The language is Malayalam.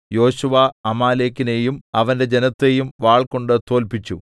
യോശുവ അമാലേക്കിനെയും അവന്റെ ജനത്തെയും വാൾകൊണ്ട് തോല്പിച്ചു